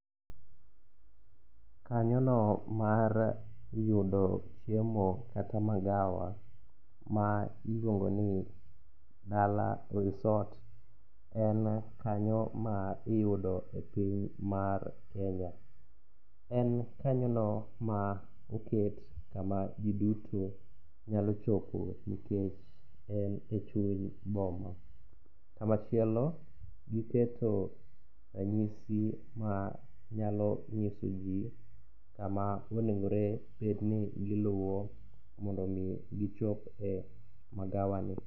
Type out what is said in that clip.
Kanyono mar yudo chiemo kata magawa ma iluongoni Dala Resort en kanyo ma iyudo e piny mar Kenya. En kanyono ma oket kama ji duto nyalo chopoe nikech en e chuny boma. Kamachielo giketo rang'isi ma nyalo ng'iso ji kama onegore bedni giluwo mondo omi gichop e magawa ni.